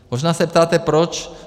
Možná se ptáte proč.